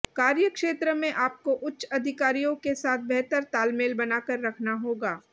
कार्यक्षेत्र में आपको उच्च अधिकारियों के साथ बेहतर तालमेल बनाकर रखना होगा